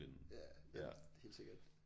Ja ja ja helt sikkert